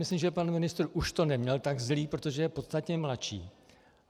Myslím, že pan ministr už to neměl tak zlé, protože je podstatně mladší.